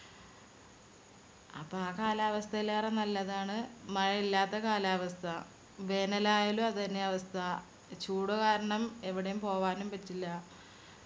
അപ്പൊ ആ കാലാവസ്ഥയിലേറെ നല്ലതാണ് മഴ ഇല്ലാത്ത കാലാവസ്ഥ. വേനലായാലു അതെന്നെ അവസ്ഥ. ചൂട് കാരണം എവിടേം പോവാനും പറ്റില്ല